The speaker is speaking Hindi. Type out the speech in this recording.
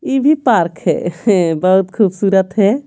ये भी पार्क है बहुत खूबसूरत है।